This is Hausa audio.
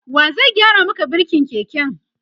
wa zai gyara Maka birkin keken?